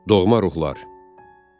Doğma ruhlar.